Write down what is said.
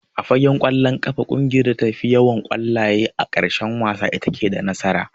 A fagen ƙwallon ƙafa ƙungiyar da ta fi yawan ƙwallaye a ƙarshen wasa itace da nasara.